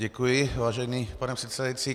Děkuji, vážený pane předsedající.